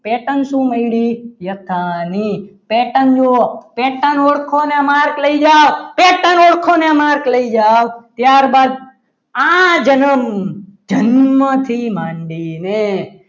pattern શું મળી યથાની pattern જોવો pattern ઓળખો અને marks લઈ જાવ pattern ઓળખો અને marks લઈ જાઓ. ત્યારબાદ આ જનમ જન્મથી માંડીને